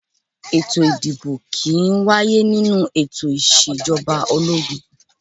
Ètò ìdìbò kì í wáyé nínú ètò Ìṣèjọba ológun